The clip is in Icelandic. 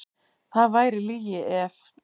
Það væri lygi ef.